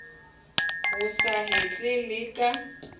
o sa hetle le ka